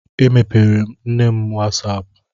Emepeere m nne m wasaapụ.